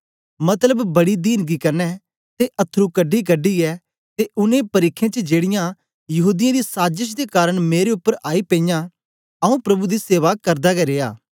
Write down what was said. मतलब बड़ी दीनगी कन्ने ते अथरू कढीकढी यै ते उनै परिखें च जेड़ीयां यहूदीयें दी साजश दे कारन मेरे उपर आई पेईयां आंऊँ प्रभु दी सेवा करदा गै रिया